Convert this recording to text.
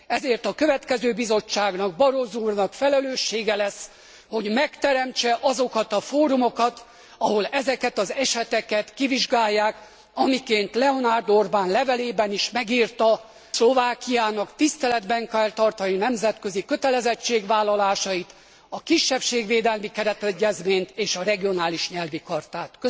Ezért a következő Bizottságnak, Barroso úrnak felelőssége lesz, hogy megteremtse azokat a fórumokat, ahol ezeket az eseteket kivizsgálják, amiként Leonard Orban levelében is megírta, Szlovákiának tiszteletben kell tartani nemzetközi kötelezettségvállalásait, a kisebbségvédelmi keretegyezményt és a regionális nyelvi chartát.